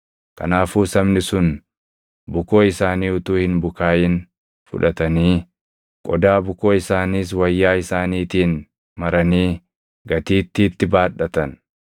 Kanaafuu sabni sun bukoo isaanii utuu hin bukaaʼin fudhatanii, qodaa bukoo isaaniis wayyaa isaaniitiin maranii gatiittiitti baadhatan.